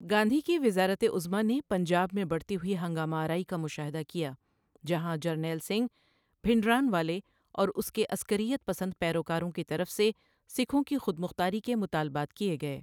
گاندھی کی وزارت عظمیٰ نے پنجاب میں بڑھتی ہوئی ہنگامہ آرائی کا مشاہدہ کیا، جہاں جرنیل سنگھ بھنڈرانوالے اور اس کے عسکریت پسند پیروکاروں کی طرف سے سکھوں کی خود مختاری کے مطالبات کے گئے۔